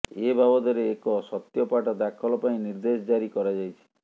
ଏ ବାବଦରେ ଏକ ସତ୍ୟପାଠ ଦାଖଲ ପାଇଁ ନିର୍ଦ୍ଦେଶ ଜାରି କରାଯାଇଛି